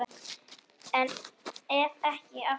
Ef ekki, AF HVERJU EKKI?